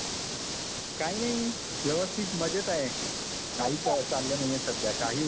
काय नाही, व्यवस्थित मजेत आहे. काही चाललं नाहीये सध्या, काही उद्योग नाहीये.